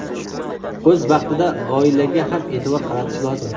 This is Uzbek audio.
O‘z vaqtida oilaga ham e’tibor qaratish lozim.